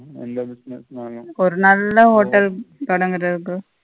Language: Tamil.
ஒரு நல்ல hotel தொடங்குறத்துக்கு